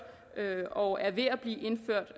og er ved at blive indført